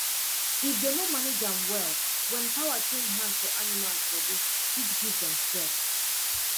if dem no manage am well when power change hand for animals body fit give dem stress